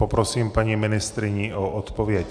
Poprosím paní ministryni o odpověď.